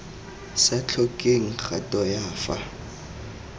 sa tlhokeng kgato ya fa